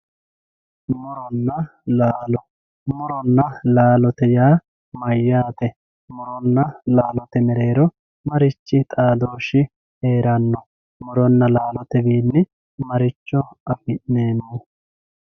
muronna laalo muronna laalo yineemmo woyte muronna laalote mereero marichi xaadooshshi heeranno muronna laalote wiinni maricho afi'neemmo